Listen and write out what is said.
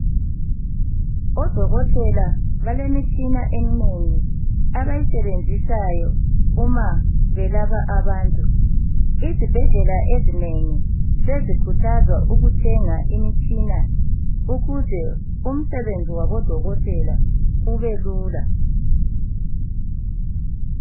Odokotela balemitshina eminengi abayisebenzisayo uma belapha abantu izibhedlela ezinengi sezikhuthazwa ukuthenga imitshina ukuze umsebenzi wabo dokotela ubelula